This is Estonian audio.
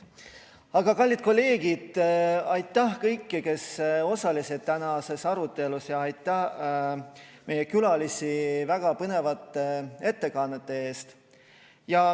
Aga kallid kolleegid, aitäh kõigile, kes osalesid tänases arutelus, ja aitäh meie külalistele väga põnevate ettekannete eest!